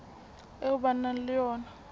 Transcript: eo ba nang le yona